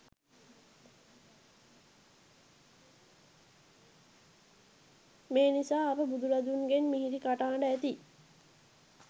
මේ නිසා අප බුදුරදුන්ගෙන් මිහිරි කටහඬ ඇති